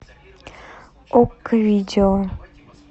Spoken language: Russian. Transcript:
окко видео